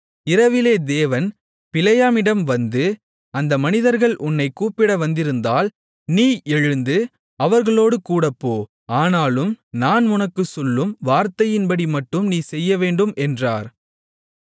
இரவிலே தேவன் பிலேயாமிடம் வந்து அந்த மனிதர்கள் உன்னைக் கூப்பிட வந்திருந்தால் நீ எழுந்து அவர்களோடு கூடப்போ ஆனாலும் நான் உனக்குச் சொல்லும் வார்த்தையின்படிமட்டும் நீ செய்யவேண்டும் என்றார்